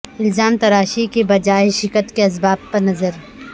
الزام تراشی کے بجائے شکست کے اسباب پر نظر